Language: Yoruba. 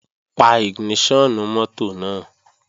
Pa ìgìníṣọ̀nù mọ́tò náà!